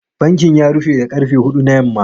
Bankin ya rufe da karfe huɗu na yamma.